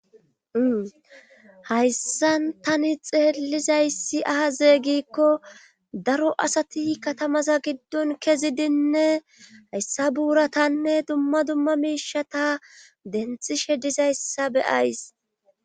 Hayssan tani xeellizayssi aze gikko daro asati katamaza giddon kezidinne hayssa buuratanne dumma dumma miishata denthishe dizayssa beyays